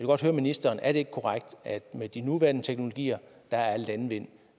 godt høre ministeren er det ikke korrekt at med de nuværende teknologier er landvind